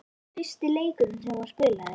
Fyrsti leikur sem þú spilaðir?